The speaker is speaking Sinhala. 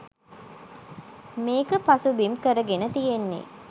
මේක පසුබිම් කරගෙන තියෙන්නේ